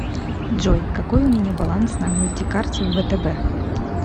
джой какой у меня баланс на мультикарте втб